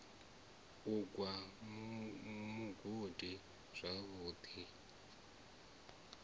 u gwa mugodi zwavhu ḓi